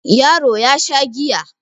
Yaro ya Sha giya